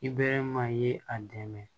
I bɛ maa ye a dɛmɛ